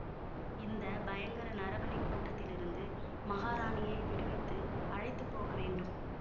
இந்த பயங்கர நரபலிக் கூட்டத்திலிருந்து மகாராணியை விடுவித்து அழைத்து போக வேண்டும்